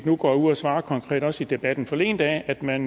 nu går ud og svarer konkret også i debatten forleden dag at man